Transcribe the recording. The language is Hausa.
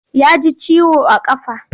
Ya ji ciwo a ƙafa.